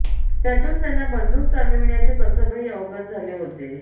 त्यातून त्यांना बंदूक चालविण्याचे कसबही अवगत झाले होते